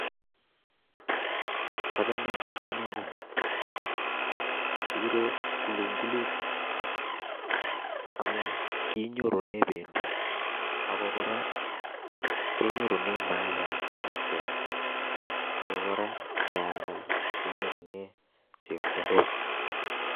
Achame, amunee ko ni. Kikure kulungulut, amuu kinyorune pendo, ago kora kenyorune mayaiyat ne imuch keam, ago kora, ng'ealda, kenyorune chepkondok